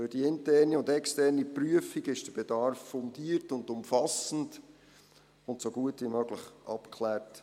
Durch die interne und externe Prüfung wurde der Bedarf fundiert, umfassend und so gut wie möglich abgeklärt.